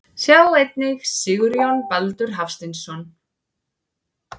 Sjá einnig Sigurjón Baldur Hafsteinsson.